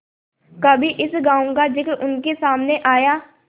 कभी इस गॉँव का जिक्र उनके सामने आया